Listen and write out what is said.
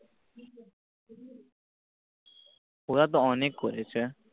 ওরা তো অনেক করেছে